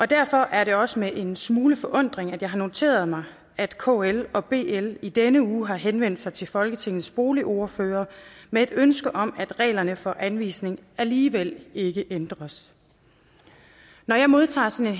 derfor er det også med en smule forundring at jeg har noteret mig at kl og bl i denne uge har henvendt sig til folketingets boligordførere med et ønske om at reglerne for anvisning alligevel ikke ændres når jeg modtager sådan